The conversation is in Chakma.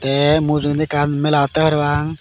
te mujogendi ekkan mela otte parapang.